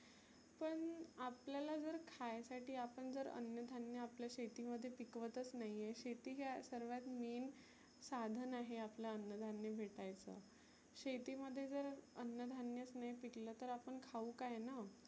पण आपल्याला जर खायसाठी आपण जर अन्न धान्य आपल्या शेती मध्ये पिकवतच नाहिए. शेती ह्या सर्वात main साधन आहे आपलं अन्न धान्य भेटायचं. शेती मध्ये जर अन्न धान्यच नाही पिकलं तर आपण खाऊ काय ना.